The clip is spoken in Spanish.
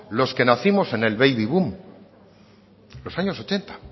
los que nacimos en el baby boom los años ochenta